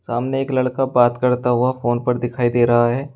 सामने एक लड़का बात करता हुआ फोन पर दिखाई दे रहा है।